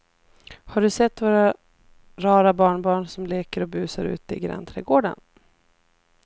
Har du sett våra rara barnbarn som leker och busar ute i grannträdgården!